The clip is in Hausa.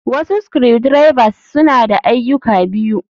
Wasu screw drivers, suna da ayyuka biyu.